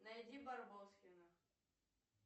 найди барбоскиных